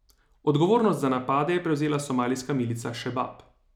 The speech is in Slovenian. Odgovornost za napade je prevzela somalijska milica Šebab.